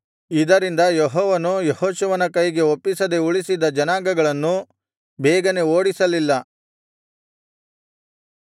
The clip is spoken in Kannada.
ಇದರಿಂದ ಯೆಹೋವನು ಯೆಹೋಶುವನ ಕೈಗೆ ಒಪ್ಪಿಸದೆ ಉಳಿಸಿದ್ದ ಜನಾಂಗಗಳನ್ನು ಬೇಗನೆ ಓಡಿಸಲಿಲ್ಲ